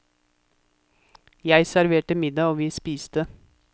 Jeg serverte middag og vi spiste.